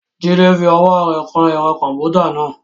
Jide fi ọwọ́ rẹ̀ kan ẹ̀rọ kọ̀m̀pútà náà.